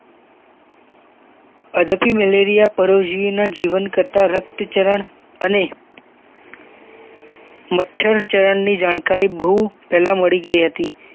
અધપી malaria પરોજીવી ના જીવન કરતા રક્તચરણ અને મચ્છર ચરણની જાણકારી બહુ પેહલા મળી ગઈ હતી